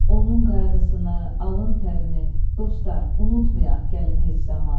Onun qayğısını, alın tərini, dostlar, unutmayaq gəlin heç zaman.